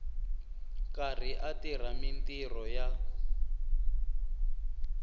karhi a tirha mintirho ya